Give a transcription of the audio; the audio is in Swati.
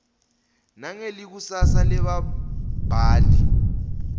nangelikusasa lebabhali